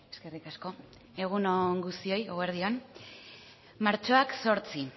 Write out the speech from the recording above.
eskerrik asko egun on guztioi eguerdi on martxoak zortzi